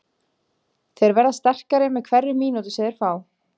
Þeir verða sterkari með hverri mínútu sem þeir fá.